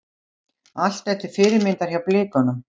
Allt til fyrirmyndar hjá Blikunum.